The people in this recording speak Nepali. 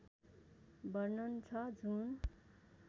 वर्णन छ जुन